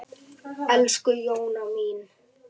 Elsku Jóna mín.